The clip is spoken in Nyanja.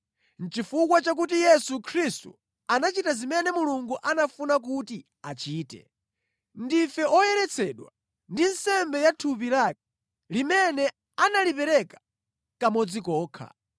Chifukwa chakuti Yesu Khristu anachita zimene Mulungu anafuna kuti achite, ndife oyeretsedwa ndi nsembe ya thupi lake, limene analipereka kamodzi kokha.